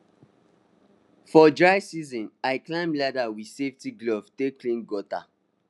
for dry season i climb ladder with safety glove take clean gutter